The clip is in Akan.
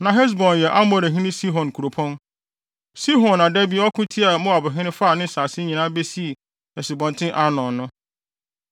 Na Hesbon yɛ Amorihene Sihon kuropɔn. Sihon na da bi ɔko tiaa Moabhene faa ne nsase nyinaa besii Asubɔnten Arnon no.